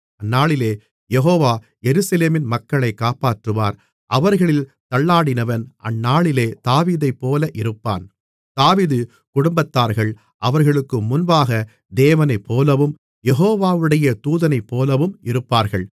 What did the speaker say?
அந்நாளிலே யெகோவா எருசலேமின் மக்களைக் காப்பாற்றுவார் அவர்களில் தள்ளாடினவன் அந்நாளிலே தாவீதைப்போல இருப்பான் தாவீது குடும்பத்தார்கள் அவர்களுக்கு முன்பாக தேவனைப்போலவும் யெகோவாவுடைய தூதனைப்போலவும் இருப்பார்கள்